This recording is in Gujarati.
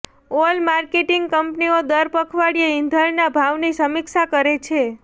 ઓઇલ માર્કેટિંગ કંપનીઓ દર પખવાડિયે ઈંધણના ભાવની સમીક્ષા કરે છે